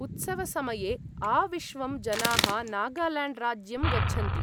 उत्सवसमये आविश्वं जनाः नागाल्याण्ड्राज्यं गच्छन्ति।